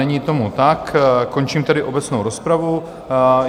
Není tomu tak, končím tedy obecnou rozpravu.